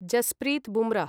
Jasprit Bumrah